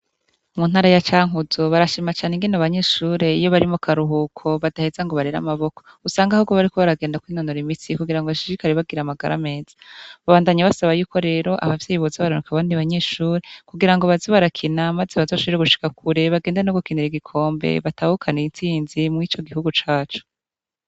Mu ntara ya cankuzo barashima cane ingene abanyeshure iyo bari mu karuhuko badaheza ngo barere amaboko usanga ahubwo bariko baragenda kwinonora imitsi kugirango bashishikare bagira amagara meza, babandanya basaba yuko rero abavyeyi boza bararungika abandi banyeshure kugirango baze barakina maze bazoshobore gushika kure bagende nogukinira igikombe batahukane itsinzi mur'ico gihugu cacu.